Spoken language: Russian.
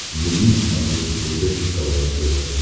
вруби на смотрешке передачу квн тв